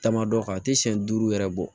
Tamadɔ kan a tɛ siyɛn duuru yɛrɛ bɔ